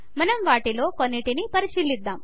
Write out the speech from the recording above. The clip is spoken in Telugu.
మనం వాటిలో కొన్నింటిని పరిశీలిద్దాము